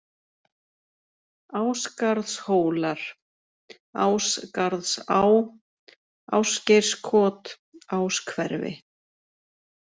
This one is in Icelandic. Ásgarðshólar, Ásgarðsá, Ásgeirskot, Áshverfi